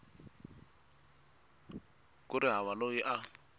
ku ri hava loyi a